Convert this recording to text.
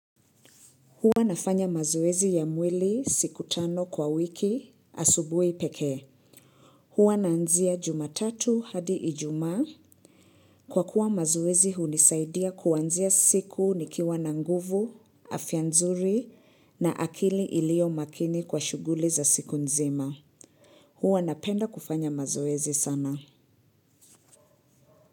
Hua nafanya mazoezi ya mwili siku tano kwa wiki asubuhi pekee. Huwa naanzia jumatatu hadi ijumaa. Kwa kuwa mazoezi hunisaidia kuanzia siku nikiwa na nguvu, afya nzuri na akili iliyo makini kwa shuguli za siku nzima. Hua na penda kufanya mazoezi sana.